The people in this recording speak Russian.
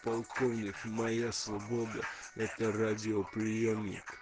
полковник моя свобода это радиоприёмник